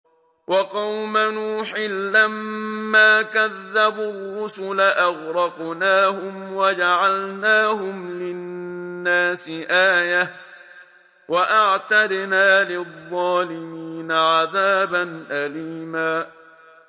وَقَوْمَ نُوحٍ لَّمَّا كَذَّبُوا الرُّسُلَ أَغْرَقْنَاهُمْ وَجَعَلْنَاهُمْ لِلنَّاسِ آيَةً ۖ وَأَعْتَدْنَا لِلظَّالِمِينَ عَذَابًا أَلِيمًا